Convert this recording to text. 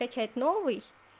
качать новый